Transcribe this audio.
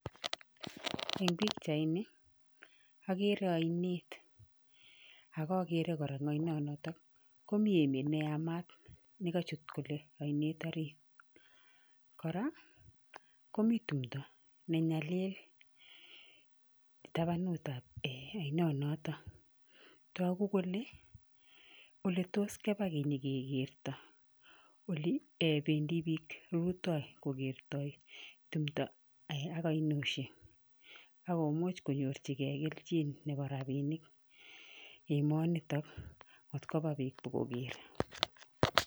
Eng pikchaini, akere ainet, ak akere kora eng ainonoto komi emet ne yamat nekachut kole ainet orit. Kora, komi tumdo nenyalil tabanutap um ainonoto. Togu kole, oletos keba kenyikekerto oli um bendi biik rutoi kokertoi tumdo ak ainoshek ak komuch konyorchikei kelchin nepo rapiinik emonito ngot kopa biik pokoker.